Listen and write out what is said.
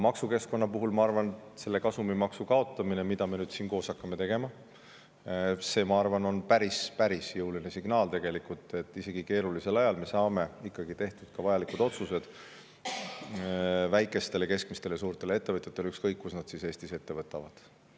Maksukeskkonna puhul ma arvan, et kasumimaksu kaotamine, mida me nüüd siin koos hakkame tegema, on päris jõuline signaal, nii et isegi keerulisel ajal me saame ikkagi tehtud vajalikud otsused väikestele, keskmistele ja suurtele ettevõtjatele, ükskõik, kus nad Eestis.